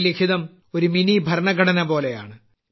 ഈ ലിഖിതം ഒരു മിനിഭരണഘടനപോലെയാണ്